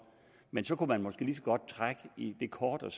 men så kunne man måske lige så godt trække det kort og